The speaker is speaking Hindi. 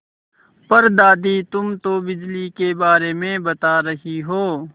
पर दादी तुम तो बिजली के बारे में बता रही हो